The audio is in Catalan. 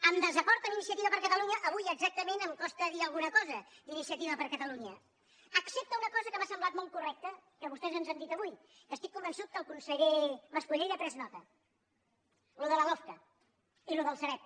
en desacord amb iniciativa per catalunya avui exactament em costa dir alguna cosa d’iniciativa per catalunya excepte una cosa que m’ha semblat molt correcta que vostès ens han dit avui que estic convençut que el conseller mas colell n’ha pres nota allò de la lofca i allò del sareb